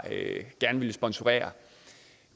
villet sponsorere